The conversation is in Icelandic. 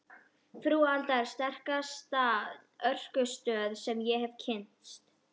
Frú Alda er sterkasta orkustöð sem ég hef kynnst.